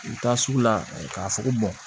U taa sugu la k'a fɔ ko